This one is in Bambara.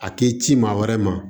A ti ci maa wɛrɛ ma